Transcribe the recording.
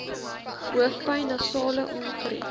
hoofpyn nasale ongerief